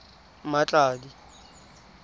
mmatladi